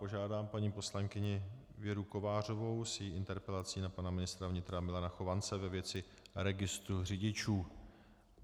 Požádám paní poslankyni Věru Kovářovou s její interpelací na pana ministra vnitra Milana Chovance ve věci registru řidičů.